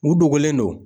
U dogolen do